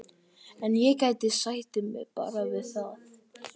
En ég sætti mig bara við það.